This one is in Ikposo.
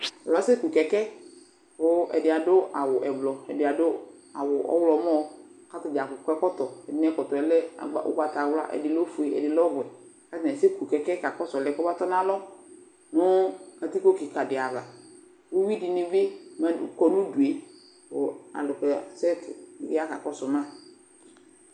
Atanɩ asɛ ku kɛkɛ, kʋ ɛdɩ adʋ awʋ ɛblɔ k'ɛdɩ adʋ awʋ ɔɣlɔmɔ ; k'atadza akɔ ɛkɔtɔ Ɛdɩnɩ ɛkɔtɔɛ lɛ agba ʋgbatawla ; ɛdɩ lɛ ofue , ɛdɩ lɛ ɔwɛ K'atanɩ asɛ ku kɛkɛ ka kɔsʋ ɔlʋ yɛ k'ɔmatɔ n'alɔ nʋ katikpo kɩkadɩ ava Uyui dɩnɩ bɩ ma kɔ n'udue kʋ alʋ kɔ ya sɛtɩ ya ka kɔsʋ ma